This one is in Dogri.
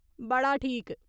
बड़ा ठीक !